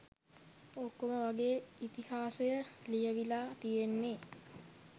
ඔක්කොම වගේ ඉතිහාසය ලියවිලා තියෙන්නේ